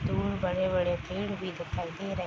दूर बड़े बड़े पेड़ भी दिखाई दे रहे --